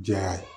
Diya ye